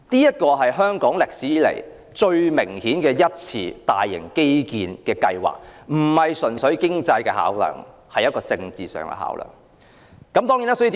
這是香港歷史上最明顯的大型基建計劃，而且並非純粹經濟的考量，是政治上的考量。